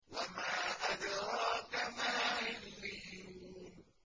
وَمَا أَدْرَاكَ مَا عِلِّيُّونَ